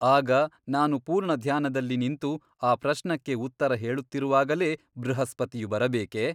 ಆಗ ನಾನು ಪೂರ್ಣಧ್ಯಾನದಲ್ಲಿ ನಿಂತು ಆ ಪ್ರಶ್ನಕ್ಕೆ ಉತ್ತರ ಹೇಳುತ್ತಿರುವಾಗಲೇ ಬೃಹಸ್ಪತಿಯು ಬರಬೇಕೆ?